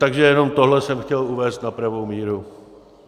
Takže jenom tohle jsem chtěl uvést na pravou míru.